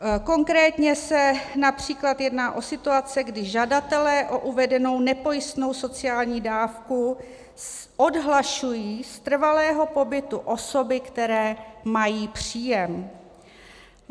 Konkrétně se například jedná o situace, kdy žadatelé o uvedenou nepojistnou sociální dávku odhlašují z trvalého pobytu osoby, které mají příjem.